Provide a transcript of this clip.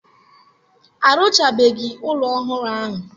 Arụchabeghị ụlọ ọhụrụ ahụ.